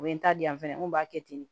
O ye n ta di yan fɛnɛ n ko b'a kɛ ten de